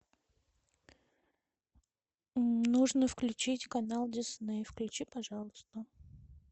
нужно включить канал дисней включи пожалуйста